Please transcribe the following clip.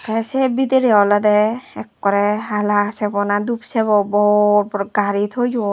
tay sey bidire olode ekkore hala sebo na doob sebo bor bor gari toyon.